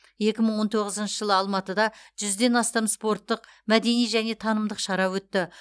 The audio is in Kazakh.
екі мың он тоғызыншы жылы алматыда жүзден астам спорттық мәдени және танымдық шара өтті